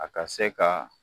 A ka se ka